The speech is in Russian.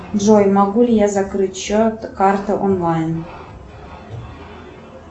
джой могу ли я закрыть счет карта онлайн